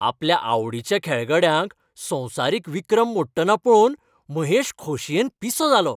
आपल्या आवडीच्या खेळगड्याक संवसारीक विक्रम मोडटना पळोवन महेश खोशयेन पिसो जालो.